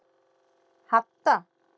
Hadda